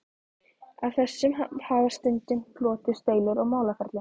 Af þessu hafa stundum hlotist deilur og málaferli.